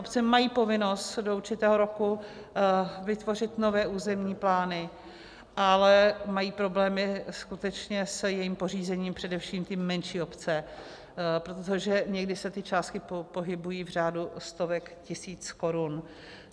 Obce mají povinnost do určitého roku vytvořit nové územní plány, ale mají problémy skutečně s jejich pořízením především ty menší obce, protože někdy se ty částky pohybují v řádu stovek tisíc korun.